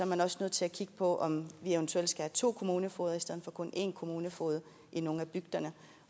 man også nødt til at kigge på om vi eventuelt skal to kommunefogeder i stedet for kun en kommunefoged i nogle af bygderne